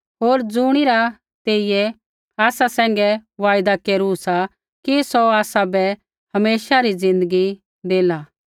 होर ज़ुणिरा तेइयै प्रभु यीशुऐ आसा सैंघै वायदा केरू सा कि सौ आसाबै हमेशा री ज़िन्दगी देला